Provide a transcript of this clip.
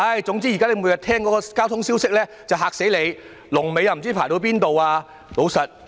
現時每天聽到的交通消息都十分嚇人，全部與車龍有關。